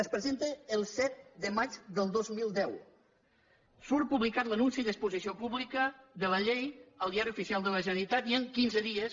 es presenta el set de maig del dos mil deu surt publicat l’anunci d’exposició pública de la llei al diari oficial de la generalitat i en quinze dies